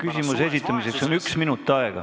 Küsimuse esitamiseks on üks minut aega.